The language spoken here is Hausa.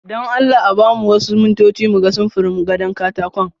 Don Allah a ba mu wasu mintoci mu ga samfurin gado katakon.